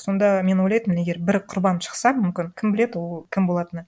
сонда мен ойлайтынмын егер бір құрбан шықса мүмкін кім біледі ол кім болатыны